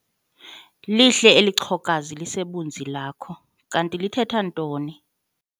Lihle eli chokoza lisebunzi lakho. Kanti lithetha ntoni?